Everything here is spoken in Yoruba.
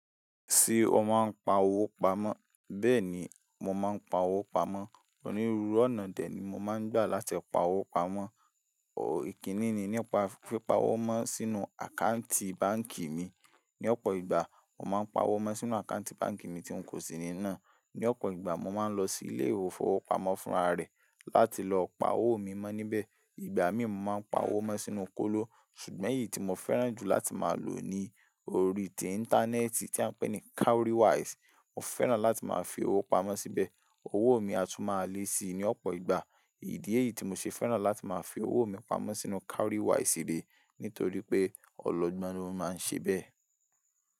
Tí o máa ń pa owó pamọ́? Bẹ́ẹ̀ ni, mo máa ń pa owó pamọ́. Onírúurú ọ̀nà dè ní mo máa ń gbà láti pa owó pamọ́. Ìkíni ni nípa pípa owó mọ́ sínú àkáǹtì báǹkì mi ní ọ̀pọ̀ ìgbà mo máa ń pa owó mọ sínú àkáǹtì báǹkì mi tí ń kò sí ní nà. Ní ọ̀pọ̀ ìgbà mo máa ń lọ sí ilé ìfowópamọ́ fúnra rẹ̀ láti lọ pa owó mi mọ níbẹ̀. Ìgbà míì mo máa ń pa owó mọ sínú kóló. Ṣùgbọ́n èyí tí mo fẹ́ràn jù láti máa lò ni orí ti íńtánẹ́ẹ̀tì tí a ń pè ní Cowrywise. Mo fẹ́ràn láti máa fi owó pamọ́ síbẹ̀. Owó mi a tún máa le sii ní ọ̀pọ̀ ìgbà. Ìdí èyí tí mo ṣe fẹ́ràn láti máa fi owó mi pamọ́ sínú Cowrywise re nítorí pé ọ̀lọ̀gbọ́n ni ó máa ń ṣe bẹ́ẹ̀.